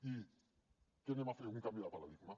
i què farem un canvi de paradigma